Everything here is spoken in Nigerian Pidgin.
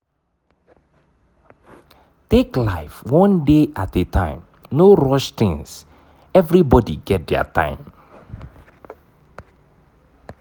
take life one day at a time no rush things everbody get their time